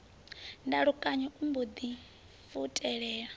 ndalukanyo o mbo ḓi futelela